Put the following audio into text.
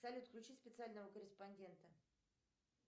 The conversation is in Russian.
салют включи специального корреспондента